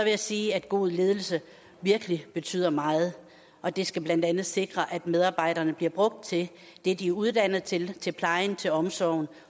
jeg sige at god ledelse virkelig betyder meget og det skal blandt andet sikre at medarbejderne bliver brugt til det de er uddannet til til plejen til omsorgen